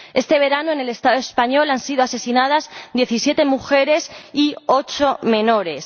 Este verano, en el Estado español, han sido asesinadas 17 mujeres y 8 menores.